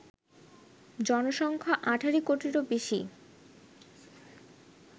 জনসংখ্যা: ১৮ কোটিরও বেশি